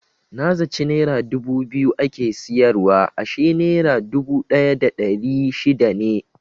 Na zaci nera dubu biyu ake siyarwa ashe nera dubu ɗaya da ɗari shida ne.